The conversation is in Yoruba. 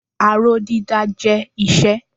Aró dídá jẹ́ iṣẹ́.